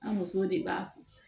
An musow de b'a fɔ